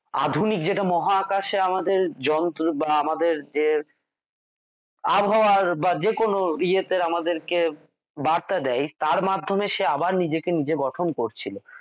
আধুনিক যেটা মহাকাশে আমাদের যন্ত্র বা আমাদের যে আবহাওয়ার বা যে কোনো ইয়ে তে আমাদের কে বার্তা দেয় তার মাধ্যমে সে আবার নিজেকে নিজে গঠন করছিল